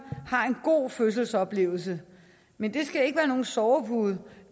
har en god fødselsoplevelse men det skal ikke være nogen sovepude